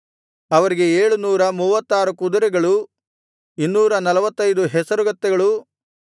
ಅವರಿಗೆ ಏಳು ನೂರ ಮೂವತ್ತಾರು ಕುದುರೆಗಳೂ ಇನ್ನೂರ ನಲ್ವತ್ತೈದು ಹೇಸರಗತ್ತೆಗಳೂ